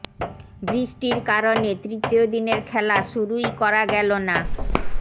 বৃষ্টির কারণে তৃতীয় দিনের খেলা শুরুই করা গেল না